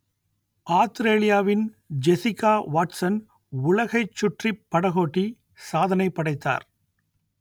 ஆத்திரேலியாவின் Jessica Watson உலகைச் சுற்றிப் படகோட்டி சாதனை படைத்தார்